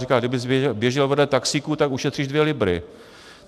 Říká: Kdybys běžel vedle taxíku, tak ušetříš dvě libry!